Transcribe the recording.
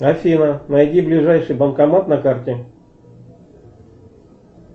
афина найди ближайший банкомат на карте